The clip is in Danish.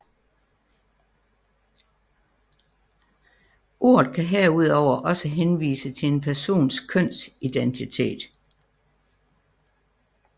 Ordet kan herudover også henvise til en persons kønsidentitet